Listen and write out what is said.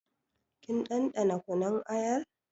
Kin ɗanɗana kunun ayar?